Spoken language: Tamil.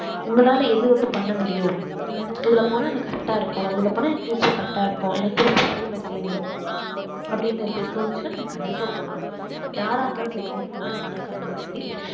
உங்களால எது வந்து பண்ண முடியும் உம் இதுல போனா எனக்கு correct ஆ இருக்கும் இதுல போனா என் future correct ஆ இருக்கும் எனக்கு புடிச்ச வேலையை நான் செய்வேன் அப்படின்னு வந்து தோணுச்சுனா நீங்க கண்டிப்பா போகலாம் யாரா இருந்தாலும் சரி யாருக்கா இருந்தாலும் சரி